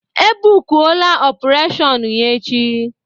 E bukụlụ opureshon ya echi